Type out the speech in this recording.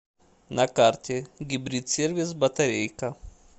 на карте гибрид сервис батарейка